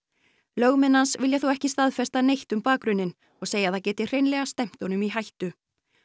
lögmenn hans vilja þó ekki staðfesta neitt um bakgrunninn og segja að það geti hreinlega stefnt honum í hættu